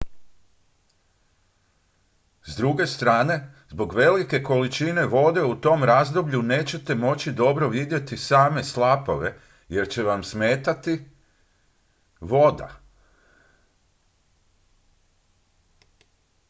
s druge strane zbog velike količine vode u tom razdoblju nećete moći dobro vidjeti same slapove jer će vam smetati voda